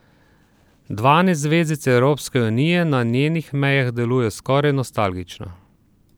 Dvanajst zvezdic Evropske unije na njenih mejah deluje skoraj nostalgično.